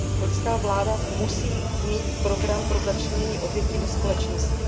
Konžská vláda musí mít program pro začlenění obětí do společnosti.